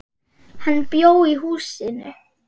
Hann bjó í húsinu.